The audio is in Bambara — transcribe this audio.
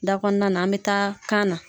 Da kɔnɔna na an bɛ taa kan na.